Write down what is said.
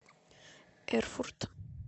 эрфурт